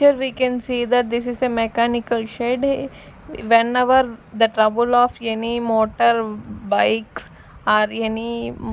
here we can see that this is a mechanical shed whenever the trouble of any motor bikes or any.